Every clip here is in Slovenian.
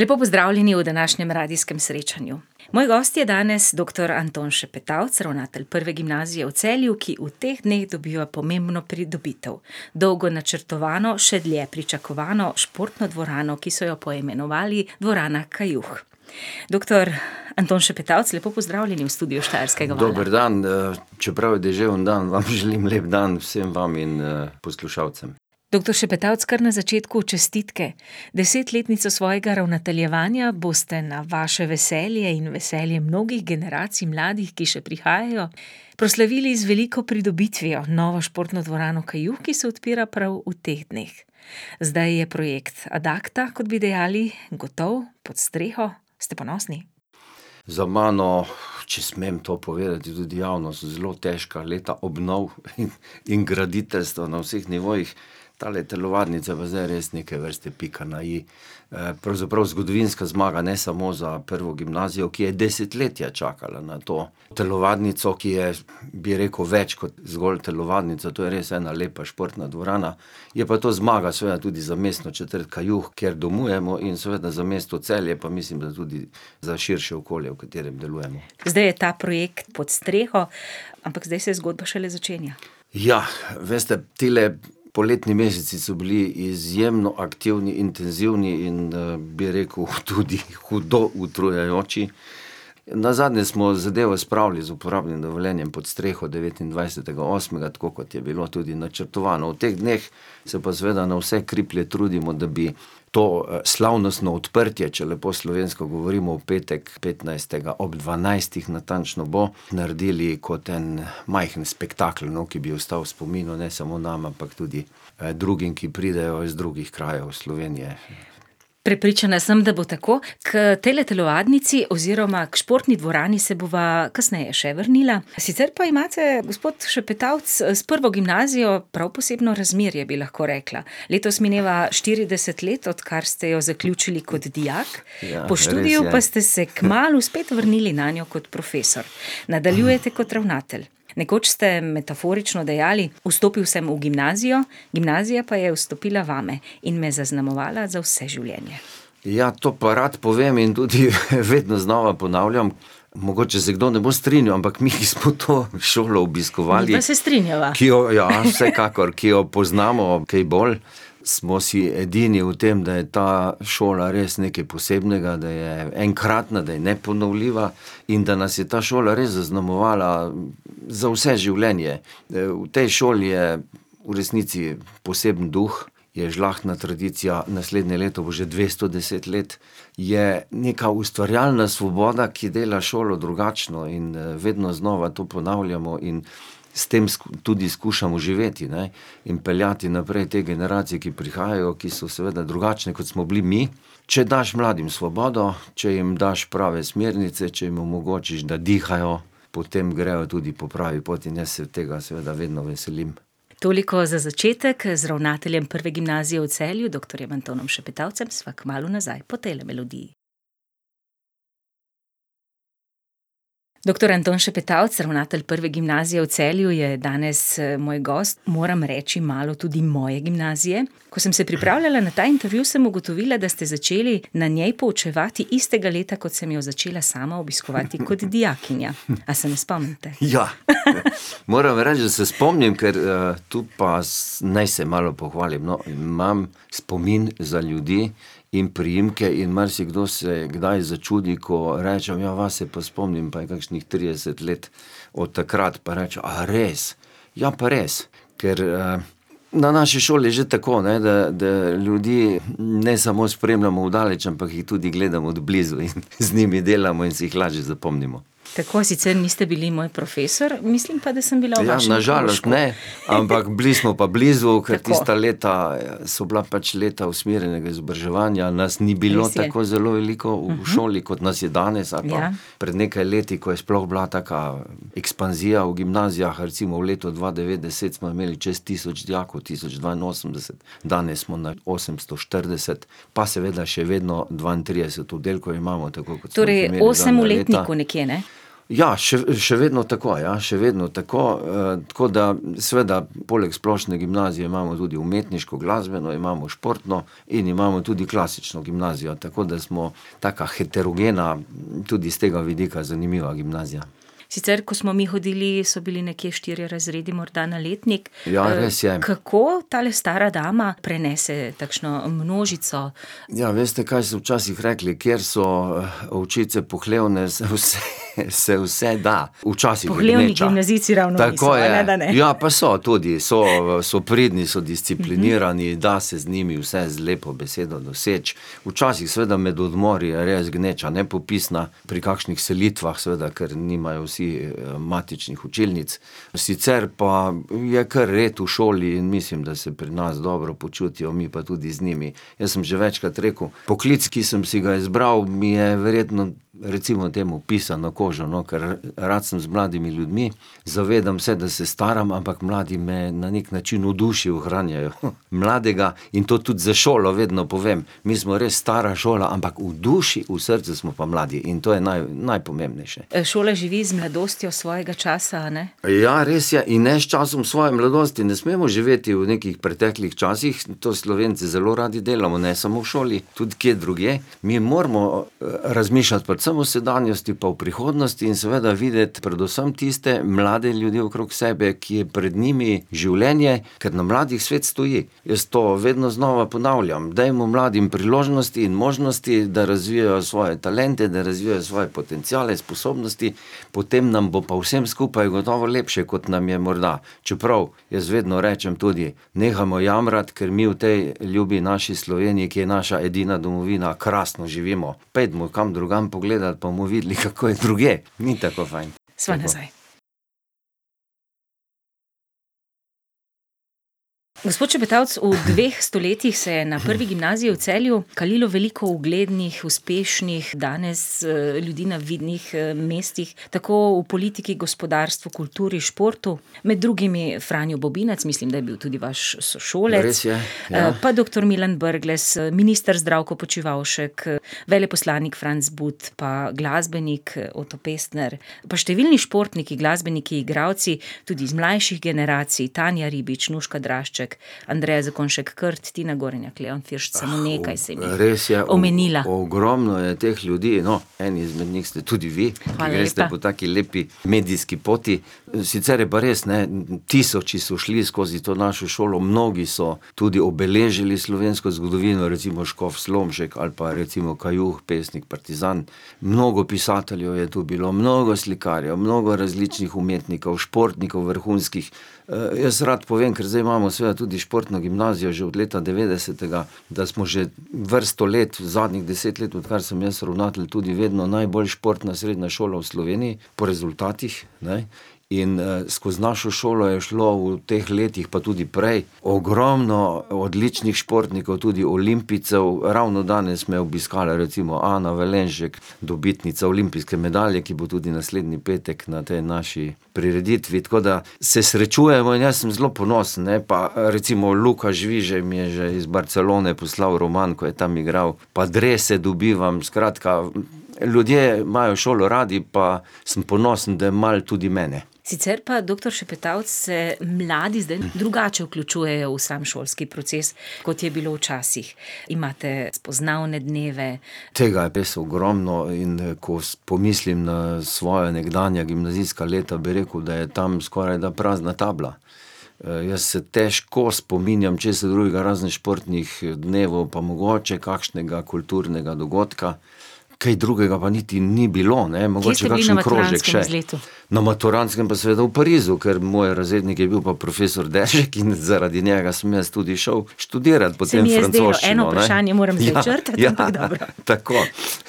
Lepo pozdravljeni v današnjem radijskem srečanju. Moj gost je danes doktor Anton Šepetavc, ravnatelj Prve gimnazije v Celju, ki v teh dneh dobiva pomembno pridobitev. Dolgo načrtovano, še dlje pričakovano športno dvorano, ki so jo poimenovali Dvorana Kajuh. Doktor Anton Šepetavc, lepo pozdravljeni v studiu Štajerskega vala. Dober dan, čeprav je deževen dan, vam želim lep dan, vsem vam in, poslušalcem. Doktor Šepetavc, kar na začetku, čestitke. Desetletnico svojega ravnateljevanja boste na vaše veselje in veselje mnogih generacij mladih, ki še prihajajo, proslavili z veliko pridobitvijo, novo športno dvorano Kajuh, ki se odpira prav v teh dneh. Zdaj je projekt ad acta, kot bi dejali, gotov, pod streho, ste ponosni? Za mano, če smem to povedati tudi javno, so zelo težka leta obnov, in graditeljstva na vseh nivojih. Tale telovadnica pa zdaj res neke vrste pika na i. pravzaprav zgodovinska zmaga, ne samo za Prvo gimnazijo, ki je desetletja čakala na to telovadnico, ki je, bi rekel, več kot zgolj telovadnica. To je res ena lepa športna dvorana, je pa to zmaga seveda tudi za mestno četrt Kajuh, kjer domujemo, in seveda za mesto Celje, pa mislim, da tudi za širše okolje, v katerem delujemo. Zdaj je ta projekt pod streho, ampak zdaj se zgodba šele začenja. veste, tile poletni meseci so bili izjemno aktivni, intenzivni in, bi rekel, tudi hudo utrujajoči. Nazadnje smo zadevo spravili z uporabnim dovoljenjem pod streho, devetindvajsetega osmega, tako kot je bilo tudi načrtovano. V teh dneh se pa seveda na vse kriplje trudimo, da bi to, slavnostno odprtje, če lepo slovensko govorimo, v petek, petnajstega, ob dvanajstih natančno bo, naredili kot en majhen spektakel, no, ki bi ostal v spominu ne samo nam, ampak tudi, drugim, ki pridejo iz drugih krajev Slovenije. Prepričana sem, da bo tako. K tejle telovadnici oziroma k športni dvorani se bova kasneje še vrnila, sicer pa imate, gospod Šepetavc, s Prvo gimnazijo prav posebno razmerje, bi lahko rekla. Letos mineva štirideset let, odkar ste jo zaključili kot dijak, po študiju pa ste se kmalu spet vrnili nanjo kot profesor. Ja, res je. Nadaljujete kot ravnatelj. Nekoč ste metaforično dejali: "Vstopil sem v gimnazijo, gimnazija pa je vstopila vame in me zaznamovala za vse življenje." Ja, to pa rad povem in tudi vedno znova ponavljam. Mogoče se kdo ne bo strinjal, ampak mi smo to šolo obiskovali ... Midva se strinjava. Ki jo, ja, vsekakor, ki jo poznamo kaj bolj, smo si edini v tem, da je ta šola res nekaj posebnega, da je enkratna, da je neponovljiva in da nas je ta šola res zaznamovala za vse življenje. v tej šoli je v resnici poseben duh, je žlahtna tradicija, naslednje leto bo že dvesto deset let, je neka ustvarjalna svoboda, ki dela šolo drugačno in, vedno znova to ponavljamo in s tem tudi skušamo živeti, ne, in peljati naprej te generacije, ki prihajajo, ki so seveda drugačne, kot smo bili mi. Če daš mladim svobodo, če jim daš prave smernice, če jim omogočiš, da dihajo, potem grejo tudi po pravi poti, in jaz se tega seveda vedno veselim. Toliko za začetek z ravnateljem Prve gimnazije v Celju, doktorjem Antonom Šepetavcem, sva kmalu nazaj, po tejle melodiji. Doktor Anton Šepetavc, ravnatelj Prve gimnazije v Celju je danes, moj gost, moram reči malo tudi moje gimnazije. Ko sem se pripravljala na ta intervju, sem ugotovila, da ste začeli na njej poučevati istega leta, kot sem jo začela sama obiskovati kot dijakinja. A se me spomnite? Ja. Moram reči, da se spomnim, ker, tu pa naj se malo pohvalim, no, imam spomin za ljudi in priimke in marsikdo se kdaj začudi, ko rečem: "Ja, vas se pa spomnim." Pa je kakšnih trideset let od takrat. Pa rečejo: "A res?" Ja, pa res. Ker, na naši šoli je že tako, ne, da, da ljudi ne samo spremljamo od daleč, ampak jih tudi gledam od blizu in z njimi delamo in si jih lažje zapomnimo. Tako, sicer niste bili moj profesor, mislim pa, da sem bila v vašem krožku. Ja, na žalost ne. Ampak bili smo pa blizu, ker tista leta Tako. so bila pač leta usmerjenega izobraževanja, nas ni bilo tako zelo veliko v šoli, kot nas je danes ali pa Res je. Ja. pred nekaj leti, ko je sploh bila taka ekspanzija v gimnazijah, recimo v letu dva devet deset smo imeli čez tisoč dijakov, tisoč dvainosemdeset. Danes smo na osemsto štirideset. Pa seveda še vedno dvaintrideset oddelkov imamo, tako kot smo jih imeli zadnja leta. Torej osem v letniku nekje, ne? Ja, še vedno tako, ja, še vedno tako, tako da, seveda, poleg splošne gimnazije imamo tudi umetniško, glasbeno, imamo športno in imamo tudi klasično gimnazijo. Tako da smo taka heterogena, tudi s tega vidika zanimiva gimnazija. Sicer ko smo mi hodili, so bili nekje štirje razredu morda na letnik. Ja, res je. kako tale stara dama prenese takšno množico? Ja, veste, kaj so včasih rekli, kjer so ovčice pohlevne, se vse, se vse da. Včasih je gneča ... Pohlevni gimnazijci ravno Tako je, ja pa so. niso, a ne, da ne? Tudi so, so pridni, so disciplinirani, da se z njimi vse z lepo besedo doseči. Včasih seveda med odmori je res gneča nepopisna, pri kakšnih selitvah, seveda, ker nimajo vsi, matičnih učilnic, sicer pa, je kar red v šoli in mislim, da se pri nas dobro počutijo, mi pa tudi z njimi. Jaz sem že večkrat rekel, poklic, ki sem si ga izbral, mi je verjetno recimo temu pisan na kožo, no, kar rad sem z mladimi ljudmi. Zavedam se, da se staram, ampak mladi me na neki način v duši ohranjajo, mladega in to tudi za šolo vedno povem. Mi smo res stara šola, ampak v duši, v srcu smo pa mladi in to je najpomembnejše. šola živi z mladostjo svojega časa, a ne? Ja, res je, in ne s časom svoje mladosti, ne smemo živeti v nekih preteklih časih, to Slovenci zelo radi delamo, ne samo v šoli, tudi kje drugje, mi moramo, razmišljati predvsem v sedanjosti pa prihodnosti in seveda videti predvsem tiste mlade ljudi okrog sebe, ki je pred njimi življenje, ker na mladih svet stoji. Jaz to vedno znova ponavljam, dajmo mladim priložnosti in možnosti, da razvijajo svoje talente, da razvijajo svoje potenciale, sposobnosti, potem nam bo pa vsem skupaj gotovo lepše, kot nam je morda. Čeprav jaz vedno rečem tudi: "Nehamo jamrati, ker mi v tej ljubi naši Sloveniji, ki je naša edina domovina, krasno živimo. Pojdimo kam drugam pogledati, pa bomo videli, kako je drugje. Ni tako fajn." Sva nazaj. Gospod Šepetavc, v dveh stoletjih se je na Prvi gimnaziji v Celju kaliko veliko uglednih, uspešnih, danes, ljudi na vidnih, mestih, tako v politiki, gospodarstvu, kulturi, športu, med drugimi Franjo Bobinac, mislim, da je bil tudi vaš sošolec ... Res je. pa doktor Milan Brglez, minister Zdravko Počivalšek, veleposlanik Franc But pa glasbenik, Oto Pestner. Pa številni športniki, glasbeniki, igralci, tudi iz mlajših generacij, Tanja Ribič, Nuška Drašček, Andreja Zakonjšek Krat, Tina Gorenjak, Leon Firšt, samo nekaj sem jih omenila. Res je, ogromno je teh ljudi, no, eni izmed njih ste tudi vi, ker greste po taki lepi Hvala lepa. medijski poti. Sicer je pa res, ne, tisoči so šli skozi to našo šolo, mnogi so tudi obeležili slovensko zgodovino, recimo škof Slomšek ali pa recimo Kajuh, pesnik partizan. Mnogo pisateljev je to bilo, mnogo slikarjev, mnogo različnih umetnikov, športnikov vrhunskih, jaz rad povem, ker zdaj imamo seveda tudi športno gimnazijo že od leta devetdesetega, da smo že vrsto let, zadnjih deset let, odkar sem jaz ravnatelj, tudi vedno najbolj športna srednja šola v Sloveniji po rezultatih, ne. In, skoz našo šolo je šlo v teh letih, pa tudi prej ogromno odličnih športnikov, tudi olimpijcev, ravno danes me je obiskala recimo Ana Valenšek, dobitnica olimpijske medalje, ki bo tudi naslednji petek na tej naši prireditvi, tako da se srečujemo in jaz sem zelo ponosen, ne, pa, recimo Luka Žvižej mi je že iz Barcelone poslal roman, ko je tam igral, pa drese dobivam, skratka, ljudje imajo šolo radi pa samo ponosen, da malo tudi mene. Sicer pa, doktor Šepetavc, se mladi zdaj drugače vključujejo v sam šolski proces, kot je bilo včasih. Imate spoznavne dneve ... Tega je v bistvu ogromno, in, ko pomislim na svoja nekdanja gimnazijska leta, bi rekel, da je tam skorajda prazna tabla. jaz se težko spominjam česa drugega razen športnih dnevov pa mogoče kakšnega kulturnega dogodka, kaj drugega pa niti ni bilo, ne ... Mogoče kakšen krožek še. Kje ste bili na maturantskem izletu? Na maturantskem pa seveda v Parizu, kar moj razrednik je bil pa profesor Deržek in zaradi njega sem jaz tudi šel študirat potem francoščino. Ja, Se mi je zdelo, eno vprašanje moram prečrtati. Tako,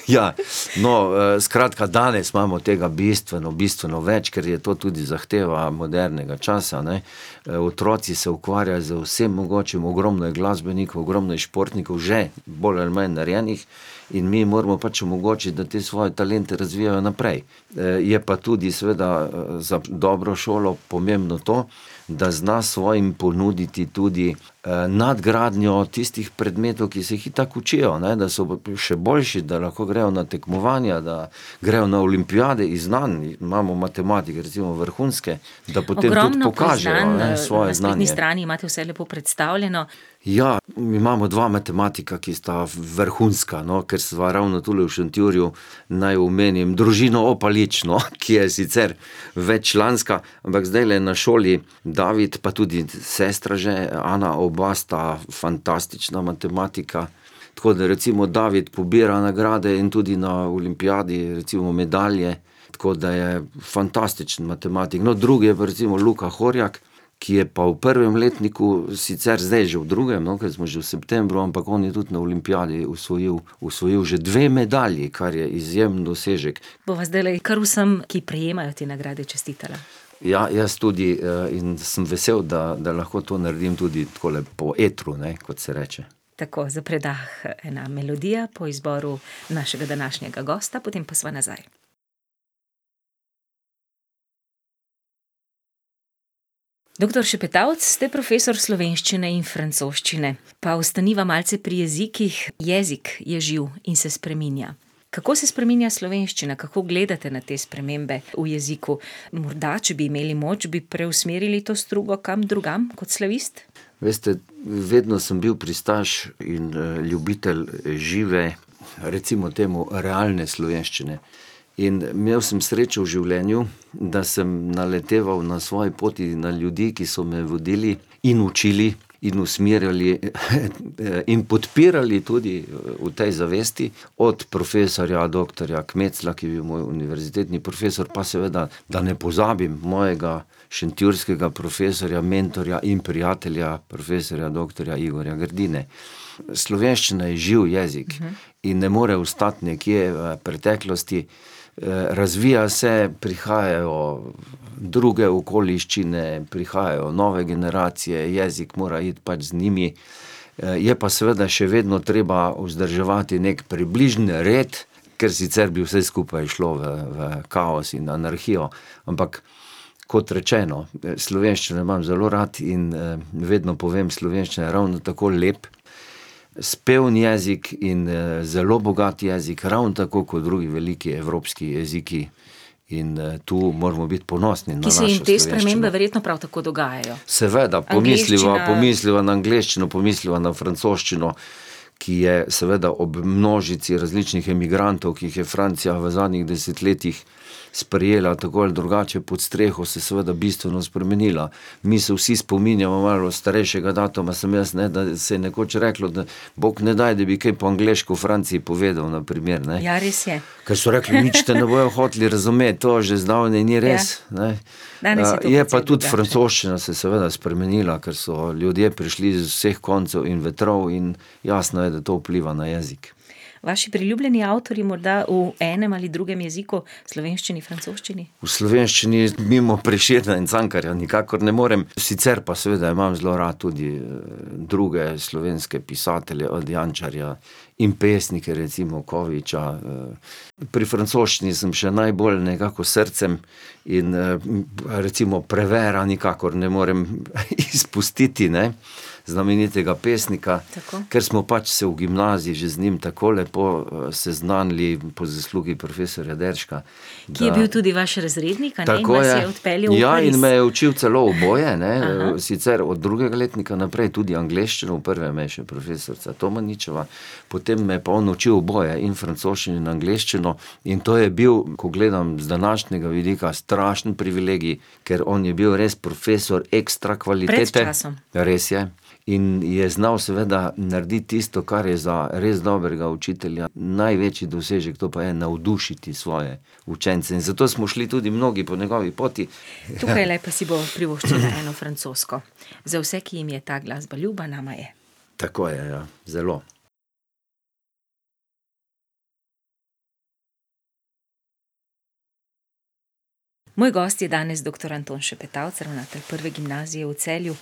ja. No, skratka, danes imamo tega bistveno, bistveno več, kar je to tudi zahteva modernega časa, ne. otroci se ukvarjajo z vsem mogočim, ogromno je glasbenikov, ogromno je športnikov že bolj ali malo narejenih in mi jim moramo pač omogočiti, da te svoje talente razvijajo naprej. je pa tudi, seveda, za dobro šolo pomembno to, da zna svojim ponuditi tudi, nadgradnjo tistih predmetov, ki se jih itak učijo, ne, da so v še boljši, da lahko grejo na tekmovanja, da grejo na olimpijade iz znanj. Imamo matematike recimo vrhunske, da potem tudi pokažejo, ne, svoje znanje. Ogromno priznanj, na spletni strani imate vse lepo predstavljeno. Ja, imamo dva matematika, ki sta vrhunska, no, ker sva ravno tule v Šentjurju, naj omenim družino , no, ki, je sicer veččlanska, ampak zdajle na šoli , pa tudi sestra že , oba sta fantastična matematika. Tako da recimo David pobira nagrade in tudi na olimpijadi, recimo, medalje. Tako da je fantastičen matematik. No, drugi je pa recimo [ime in priimek] , ki je pa v prvem letniku, sicer zdaj že v drugem, no, ker smo že v septembru, ampak on je tudi na olimpijadi osvojil, osvojil že dve medalji, kar je izjemen dosežek. Bova zdajle kar vsem, ki prejemajo te nagrade, čestitala. Ja, jaz tudi, in sem vesel, da, da lahko to naredim tudi takole po etru, ne, kot se reče. Tako, za predah ena melodija po izboru našega današnjega gosta, potem pa sva nazaj. Doktor Šepetavc, ste profesor slovenščine in francoščine. Pa ostaniva malce pri jezikih, jezik je živ in se spreminja. Kako se spreminja slovenščina, kako gledate na te spremembe v jeziku? Morda, če bi imeli moč, bi preusmerili to strugo kam drugam kot slavist? Veste, vedno sem bil pristaš in, ljubitelj žive, recimo temu realne slovenščine. In imel sem srečo v življenju, da sem naleteval na svoji poti na ljudi, ki so me vodili in učili in usmerjali, in podpirali tudi, v tej zavesti. Od profesorja doktorja Kmecla, ki je bil moj univerzitetni profesor, pa seveda, da ne pozabim mojega šentjurskega profesorja, mentorja in prijatelja profesorja doktorja Igorja Grdine. Slovenščina je živ jezik. In ne more ostati nekje, preteklosti, razvija se, prihajajo druge okoliščine, prihajajo nove generacije, jezik mora iti pač z njimi. je pa seveda še vedno treba vzdrževati neki približen red, ker sicer bi vse skupaj šlo v, v kaos in anarhijo. Ampak kot rečeno, slovenščino imam zelo rad in, vedno povem: "Slovenščina je ravno tako lep, speven jezik in, zelo bogat jezik, ravno tako kot drugi veliki evropski jeziki." In, to moramo biti ponosni na našo slovenščino. Ki se jim te spremembe verjetno prav tako dogajajo. Seveda, pomisliva, pomisliva na angleščino, pomisliva na francoščino, Angleščina ... ki je, seveda ob množici različnih emigrantov, ki jih je Francija v zadnjih desetletjih sprejela, tako ali drugače pod streho, se seveda bistveno spremenila. Mi se vsi spominjamo, malo starejšega datuma sem jaz, ne, da se je nekoč reklo, da bog ne daj, da bi kaj po angleško v Franciji povedal, na primer, ne. Ja, res je. Ker so rekli: "Nič te ne bojo hoteli razumeti." To že zdavnaj ni res, Ja. ne. Danes je tradicija drugačna. Je pa tudi francoščina se seveda spremenila, ker so ljudje prišli z vseh koncev in vetrov in jasno je, da to vpliva na jezik. Vaši priljubljeni avtorji morda v enem ali drugem jeziku, slovenščini, francoščini? V slovenščini mimo Prešerna in Cankarja nikakor ne morem, sicer pa seveda imam zelo rad tudi, druge slovenske pisatelje, od Jančarja, in pesnike, recimo Koviča, ... Pri francoščini sem še najbolj nekako s srcem in, recimo Prévert nikakor ne morem izpustiti, ne, znamenitega pesnika. Tako. Ker smo pač se v gimnaziji že z njim tako lepo, seznanili po zaslugi profesorja Deržka. Ki je bil tudi vaš razrednik, a ne, in vas je odpeljal iz ... Tako, ja, ja, in me je učil celo oboje, ne, sicer od drugega letnika naprej tudi angleščino, v prvem me je še profesorica Tomaničeva, potem me je pa on učil oboje, in francoščino in angleščino. In to je bil, ko gledam z današnjega vidika, strašen privilegij, ker on je bil res profesor ekstra kvalitete. Pred časom. Res je. In je znal seveda narediti tisto, kar je za res dobrega učitelja največji dosežek, to pa je navdušiti svoje učence. In zato smo šli tudi mnogi po njegovi poti ... Tukajle si bomo privoščili eno francosko. Za vse, ki jim je ta glasba ljuba, nama je. Tako je, ja. Zelo. Moj gost je danes doktor Anton Šepetavc, ravnatelj Prve gimnazije v Celju.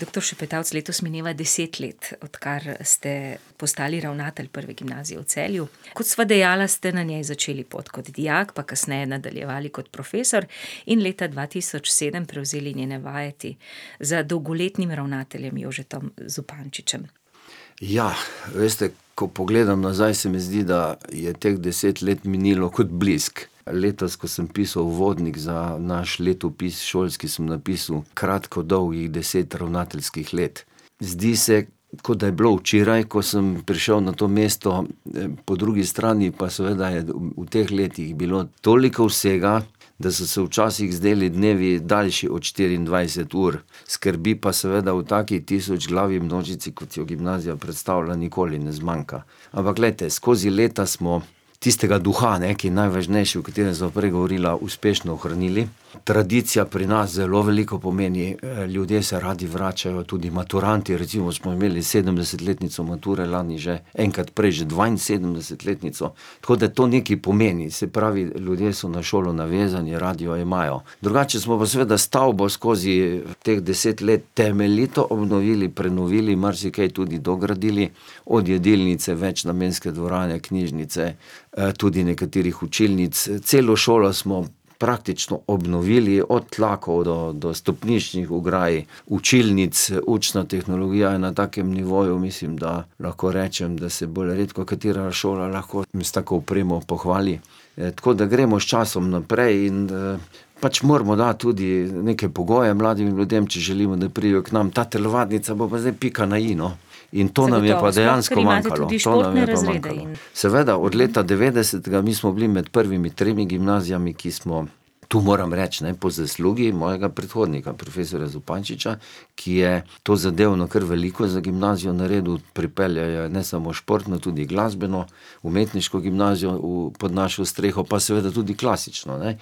Doktor Šepetavc, letos mineva deset let, odkar ste postali ravnatelj Prve gimnazije v Celju. Kot sva dejala, ste na njej začeli pot kot dijak, pa kasneje nadaljevali kot profesor, in leta dva tisoč sedem prevzeli njene vajeti za dolgoletnim ravnateljem Jožetom Zupančičem. veste, ko pogledam nazaj, se mi zdi, da je teh deset let minilo kot blisk. Letos, ko sem pisal uvodnik za naš letopis šolski, sem napisal kratko-dolgih deset ravnateljskih let. Zdi se, kot da je bilo včeraj, ko sem prišel na to mesto, po drugi strani pa seveda je v teh letih bilo toliko vsega, da so se včasih zdeli dnevi daljši od štiriindvajset ur. Skrbi pa seveda v taki tisočglavi množici, kot jo gimnazija predstavlja, nikoli ne zmanjka. Ampak glejte, skozi leta smo tistega duha, ne, ki je najvažnejši, o katerem sva prej govorila, uspešno ohranili, tradicija pri nas zelo veliko pomeni, ljudje se radi vračajo, tudi maturantje, recimo, smo imeli sedemdesetletnico mature lani že, enkrat prej že dvainsedemdesetletnico, tako da to nekaj pomeni. Se pravi, ljudje so na šolo navezani, radi jo imajo. Drugače smo pa seveda stavbo skozi teh deset let temeljito obnovili, prenovili, marsikaj tudi dogradili, od jedilnice, večnamenske dvorane, knjižnice, tudi nekaterih učilnic, celo šolo smo praktično obnovili, od tlakov do, do stopniščnih ograj, učilnic, učna tehnologija je na takem nivoju, mislim, da lahko rečem, da se bolj redkokatera šola lahko s tako opremo pohvali. tako da gremo s časom naprej in, pač moramo dati tudi neke pogoje mladih ljudem, če želimo, da pridejo k nam. Ta telovadnica bo pa zdaj pika na i, no. In to nam je pa dejansko manjkalo, to nam je pa manjkalo. Zagotovo, sploh ker imate tudi športne razrede in ... Seveda, od leta devetdesetega, mi smo bili med prvimi tremi gimnaziji, ki smo, tu moram reči, ne, po zaslugi mojega predhodnika, profesorja Zupančiča, ki je tozadevno kar veliko za gimnazijo naredil, pripeljal jo je ne samo športno, tudi glasbeno, umetniško gimnazijo pod našo streho, pa seveda tudi klasično, ne.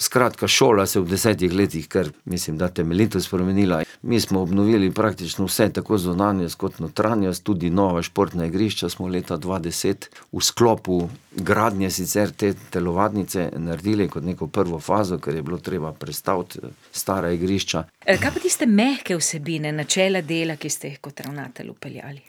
Skratka, šola se je v desetih letih kar, mislim, da temeljito spremenila, mi smo obnovili praktično vse, tako zunanjost kot notranjost, tudi nova športna igrišča smo leta dva deset v sklopu gradnje sicer te telovadnice naredili kot neko prvo fazo, kar je bilo treba prestaviti stara igrišča ... kaj pa tiste mehke vsebine, načela dela, ki ste jih kot ravnatelj vpeljali?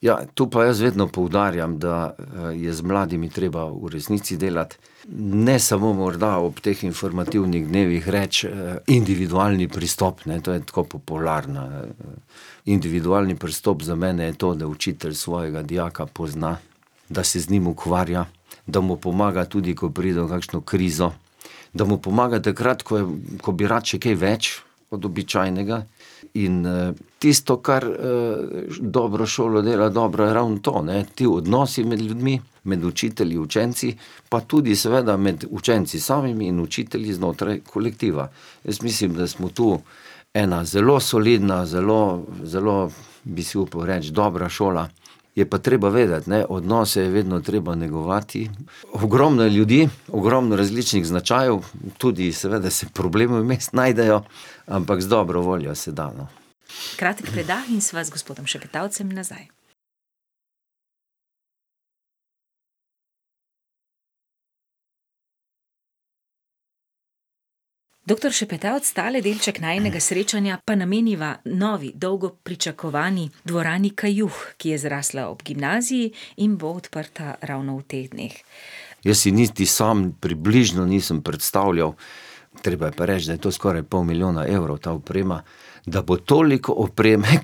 Ja, to pa jaz vedno poudarjam, da, je z mladimi treba v resnici delati, ne samo morda ob teh informativnih dnevih, reči, individualni pristop, ne, to je tako popularno, Individualni pristop za mene je to, da učitelj svojega dijaka pozna, da se z njim ukvarja, da mu pomaga, tudi ko pride v kakšno krizo. Da mu pomaga takrat, ko je, ko bi rad še kaj več od običajnega, in, tisto, kar, dobra šola dela, je dobra ravno to, ne, ti odnosi med ljudmi, med učitelji, učenci, pa tudi, seveda, med učenci samimi in učitelji znotraj kolektiva. Jaz mislim, da smo tu ena zelo solidna, zelo, zelo, bi si upal reči, dobra šola. Je pa treba vedeti, ne, odnose je vedno treba negovati. Ogromno je ljudi, ogromno različnih značajev, tudi, seveda, se problemi vmes najdejo, ampak z dobro voljo se da, no. Kratek predah in sva s gospodom Šepetavcem nazaj. Doktor Šepetavc, tale delček najinega srečanja pa nameniva novi, dolgo pričakovani Dvorani Kajuh, ki je zrasla ob gimnaziji in bo odprta ravno v teh dneh. Jaz si niti sam približno nisem predstavljal, treba je pa reči, da je to skoraj pol milijona evrov ta oprema, da bo toliko opreme ...